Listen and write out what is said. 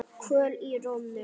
Kvöl í rómnum.